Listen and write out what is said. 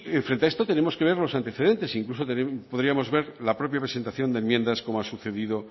frente a esto tenemos que ver los antecedentes e incluso también podríamos ver la propia presentación de enmiendas cómo ha sucedido